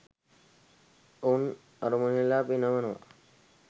ඔවුන් අරමුණෙහි ලා පිනවනවා.